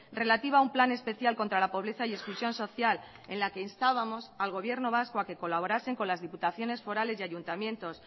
relativa a un plan especial contra la pobreza y exclusión social en la que instábamos al gobierno vasco a que colaborasen con las diputaciones forales y ayuntamientos